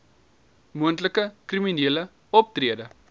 moontlike kriminele optrede